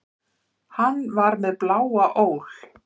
Hann var með bláa ól.